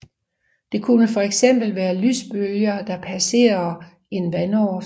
Det kunne for eksempel være lysbølger der passerer en vandoverflade